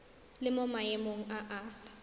le mo maemong a a